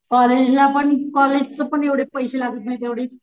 कॉलेजला पण कॉलेज च पण एवढे पैसे लागत नाही तेवढे,